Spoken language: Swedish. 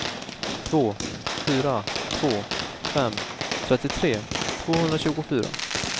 två fyra två fem trettiotre tvåhundratjugofyra